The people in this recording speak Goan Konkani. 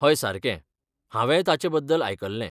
हय सारकें, हांवेंय ताचेबद्दल आयकल्लें.